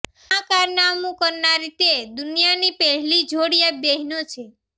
આ કારનામું કરનારી તે દુનિયાની પહેલી જોડિયા બહેનો છે